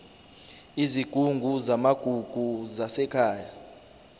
izigungu zamagugu zasekhaya